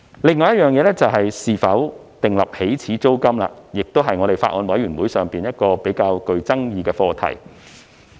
另外，應否訂立起始租金，亦是法案委員會上較具爭議的課題。